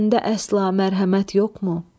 Səndə əsla mərhəmət yoxmu?